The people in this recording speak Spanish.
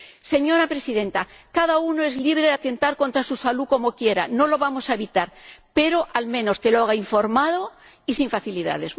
Señora Presidenta, cada uno es libre de atentar contra su salud como quiera, no lo vamos a evitar, pero, al menos, que lo haga informado y sin facilidades.